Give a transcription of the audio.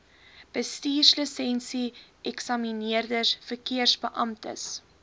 bestuurslisensie eksamineerders verkeersbeamptes